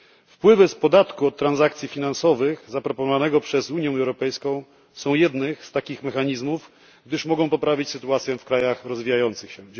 Wpływy z podatku od transakcji finansowych zaproponowanego przez Unię Europejską są jednym z takich mechanizmów, gdyż mogą poprawić sytuację w krajach rozwijających się.